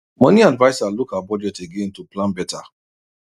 money adviser look her budget again to plan better